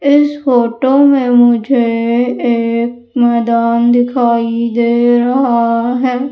इस फोटो में मुझे एक मैदान दिखाई दे रहा है।